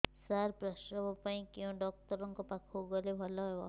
ସାର ପ୍ରସବ ପାଇଁ କେଉଁ ଡକ୍ଟର ଙ୍କ ପାଖକୁ ଗଲେ ଭଲ ହେବ